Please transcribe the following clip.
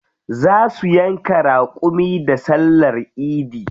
Za su yanka raƙumi da sallar idi.